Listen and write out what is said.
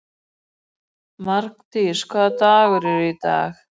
Mardís, hvaða dagur er í dag?